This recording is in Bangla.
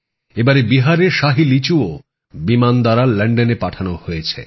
এবারে বিহারের শাহী লিচুও বিমানে লন্ডনে পাঠানো হয়েছে